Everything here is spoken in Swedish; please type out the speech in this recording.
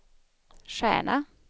stjärna